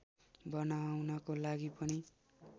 बनाउनको लागि पनि